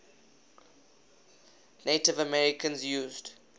native americans used